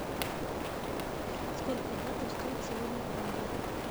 сколько батов стоит сегодня франк